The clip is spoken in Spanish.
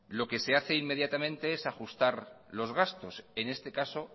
lo que se hace inmediatamente es ajustar los gastos en este caso